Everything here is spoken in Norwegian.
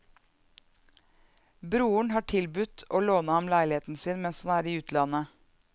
Broren har tilbudt å låne ham leiligheten sin mens han er i utlandet.